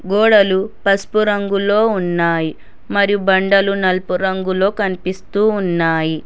గోడలు పసుపు రంగులో ఉన్నాయి మరియు బండలు నలుపు రంగులో కనిపిస్తూ ఉన్నాయి.